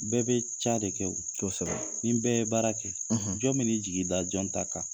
Bɛɛ bɛ ca de kɛ o, kosɛbɛ, ni bɛɛ ye baara kɛ jɔn mi n'i jigin da jɔn ta kan ?